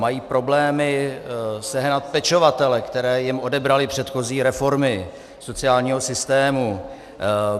Mají problémy sehnat pečovatele, které jim odebraly předchozí reformy sociálního systému.